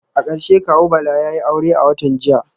A karshe kawu Bala yayi aure a watan jiya